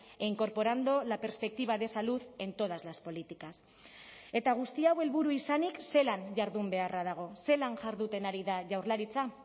e incorporando la perspectiva de salud en todas las políticas eta guzti hau helburu izanik zelan jardun beharra dago zelan jarduten ari da jaurlaritza